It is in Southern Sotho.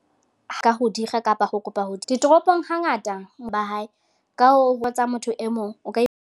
Ho ka ho dikga kapa ho kopa ho. Ditoropong hangata ba hae. Ka hoo, ho etsa motho e mong o ka.